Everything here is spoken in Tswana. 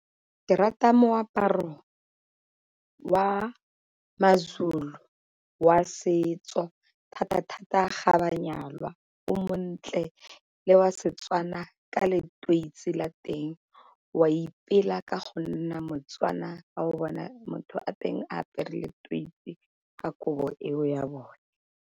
Ke rata moaparo wa maZulu wa setso thata-thata ga ba nyalwa, o montle le wa Setswana ka leteisi la teng, o a ipela ka go nna moTswana fa o bona motho wa teng a apere leteisi ka kobo eo ya bone.